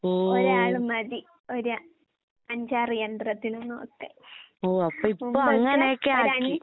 ഓ, ഓ അപ്പ ഇപ്പൊ അങ്ങനെയൊക്കെയാക്കി.